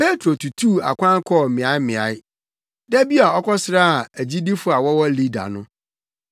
Petro tutuu akwan kɔɔ mmeaemmeae. Da bi a ɔkɔsraa agyidifo a wɔwɔ Lida no,